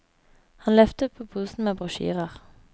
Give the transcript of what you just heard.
Han løftet på posen med brosjyrer.